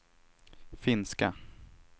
finska